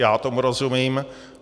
Já tomu rozumím.